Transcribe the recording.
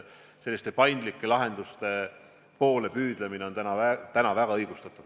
Selliste paindlike lahenduste poole püüdlemine on minu meelest täna igati õigustatud.